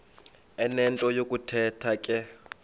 enento yokuthetha ke